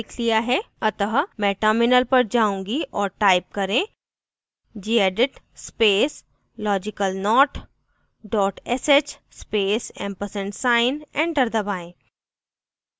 अतः मैं terminal पर जाऊँगी और type करें gedit space logicalnot dot sh space ampersand sign enter दबाएं